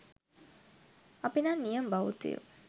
අපි නම් නියම බෞද්ධයෝ